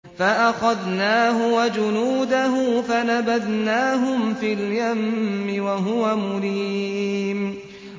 فَأَخَذْنَاهُ وَجُنُودَهُ فَنَبَذْنَاهُمْ فِي الْيَمِّ وَهُوَ مُلِيمٌ